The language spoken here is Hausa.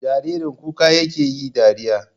Jaririn kuka yake yi dariya?